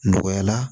Nɔgɔya la